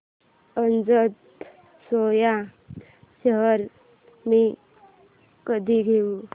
Ajanta Soya shares मी कधी घेऊ